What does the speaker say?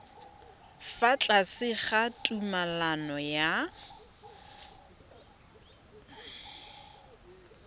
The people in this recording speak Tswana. fa tlase ga tumalano ya